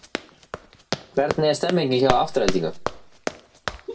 Hvernig er stemmingin hjá Aftureldingu?